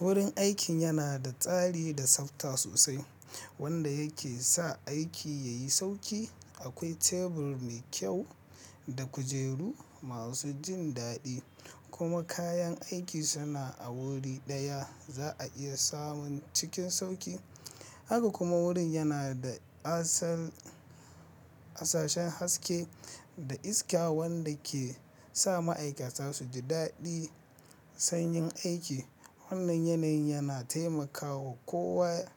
Wurin aikin yana da tsari da tsafta sosai, wanda yake sa aiki yayi sauki. Akwai tebur mai kyau da kujeru masu jin daɗi, kuma kayan aiki suna a wuri ɗaya za a iya samun cikin sauƙi. Haka kuma wurin yana da asashen haske da iska wanda ke sa ma'aikata su ji daɗi sanyin aiki. Wannan yanayi yana taimaka wa kowa